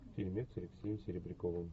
фильмец с алексеем серебряковым